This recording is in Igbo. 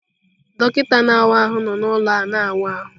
Dọkịta na-awa ahụ nọ na ụlọ a na wa ahụ.